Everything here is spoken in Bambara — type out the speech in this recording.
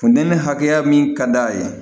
Funtenin hakɛya min ka d'a ye